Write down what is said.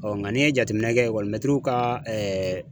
nka n'i ye jateminɛ kɛ mɛtiriw ka